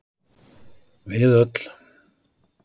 Við öll.